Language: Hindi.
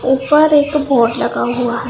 ऊपर एक बोर्ड लगा हुआ है।